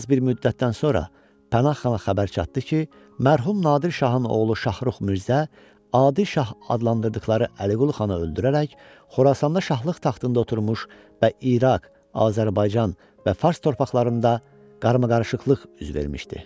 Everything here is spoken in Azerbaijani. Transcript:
Az bir müddətdən sonra Pənahxana xəbər çatdı ki, mərhum Nadir Şahın oğlu Şaxrux Mirzə Adil Şah adlandırdıqları Əliqulu Xanı öldürərək Xorasanda şahlıq taxtında oturmuş və İraq, Azərbaycan və Fars torpaqlarında qarmaqarışıqlıq üz vermişdi.